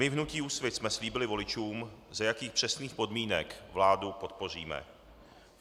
My v hnutí Úsvit jsme slíbili voličům, za jakých přesných podmínek vládu podpoříme.